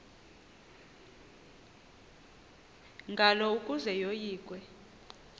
ngalo ukuze yoyikwe